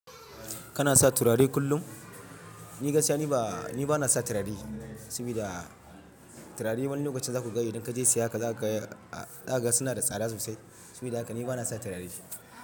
Kana sa turare kullum? Ni gaskiya ni ba, ni ba na sa turare saboda turare wani lokacin za ku ga idan ka je siya haka za ka ga suna da tsada sosai. Saboda haka ni ba na sa turare.